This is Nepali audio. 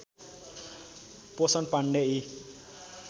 पोषण पाण्डे यी